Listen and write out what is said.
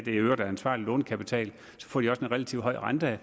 i øvrigt er ansvarlig lånekapital får de også en relativt høj rente